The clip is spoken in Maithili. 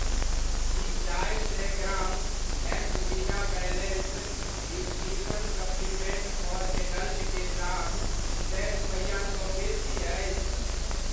की चारि सए gram Maxvida balanced nutrition supplement for adult के दाम सए रुपैआसँ बेसी अछि ?